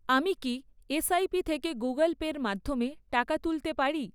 আমি কি এসআইপি থেকে গুগল পের মাধ্যমে টাকা তুলতে পারি?